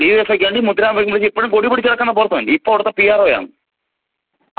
ഡിവൈഎഫ്ഐക്ക് വേണ്ടി മുദ്രാവാക്യം വിളിച്ച് ഇപ്പഴും കൊടി പിടിച്ച് നടക്കുന്ന പ്രവര്‍ത്തകന്‍. .ഇപ്പോള്‍ അവിടത്തെ പി ആര്‍ ഓ ആണ്.